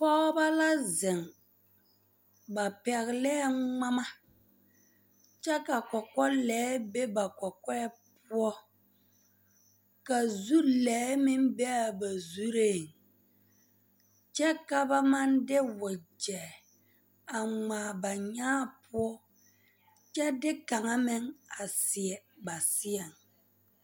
Pɔgeba la zeŋ ba pɛglɛɛ ŋmama kyɛ ka kɔkɔlɛɛ be ba kɔkɔɛ poɔ ka zu lɛɛ be a ba zureŋ kyɛ ka ba maŋ de wagyɛ a ŋmaa ba nyaa poɔ kyɛ de kaŋa meŋ a seɛ ba seɛŋ.